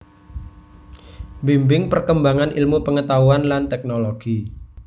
Mbimbing perkembangan ilmu pengetahuan lan teknologi